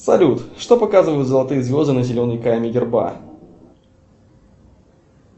салют что показывают золотые звезды на зеленой каме герба